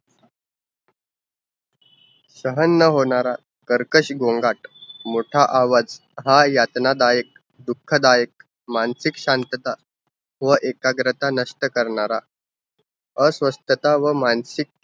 सहन न होणारा कर्कश, गोंघाट, मोठा आवाज़ हा यातना दायक दुःख दायक मानसिक शांतता व एकाग्रता नष्ट करणारा अस्वस्त्ता व मानसिक